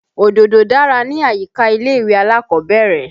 Òdòdó dára ni àyíká ilé-ìwé alákọ̀ọ́bẹ́rẹ́.